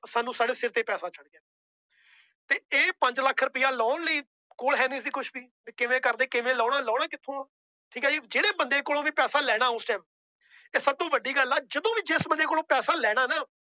ਸਾਨੂੰ ਸਾਡੇ ਸਿਰ ਤੇ ਪੈਸਾ ਚੜ੍ਹ ਗਿਆ ਤੇ ਇਹ ਪੰਜ ਲੱਖ ਰੁਪਇਆ ਲਾਉਣ ਲਈ ਕੋਲ ਹੈਨੀ ਸੀ ਕੁਛ ਵੀ ਤੇ ਕਿਵੇਂ ਕਰਦੇ ਕਿਵੇਂ ਲਾਉਣਾ ਲਾਉਣਾ ਕਿੱਥੋਂ ਆਂ ਠੀਕ ਹੈ ਜੀ ਜਿਹੜੇ ਬੰਦੇ ਕੋਲੋਂ ਵੀ ਪੈਸਾ ਲੈਣਾ ਉਸ time ਤੇ ਸਭ ਤੋਂ ਵੱਡੀ ਗੱਲ ਆ ਜਦੋਂ ਵੀ ਜਿਸ ਬੰਦੇ ਕੋਲੋਂ ਪੈਸਾ ਲੈਣਾ ਨਾ